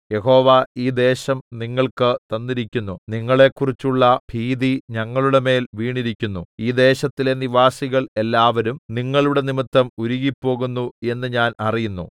യഹോവ ഈ ദേശം നിങ്ങൾക്ക് തന്നിരിക്കുന്നു നിങ്ങളെക്കുറിച്ചുള്ള ഭീതി ഞങ്ങളുടെമേൽ വീണിരിക്കുന്നു ഈ ദേശത്തിലെ നിവാസികൾ എല്ലാവരും നിങ്ങളുടെ നിമിത്തം ഉരുകിപ്പോകുന്നു എന്ന് ഞാൻ അറിയുന്നു